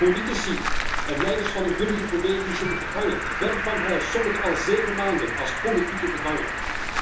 Politici en leiders van de burgerbeweging zitten gevangen, ver van huis, sommigen al zeven maanden, als politieke gevangenen.